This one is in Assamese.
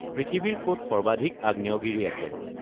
পৃথিৱীৰ ক'ত সৰ্বাধিক আগ্নেয়গিৰি আছে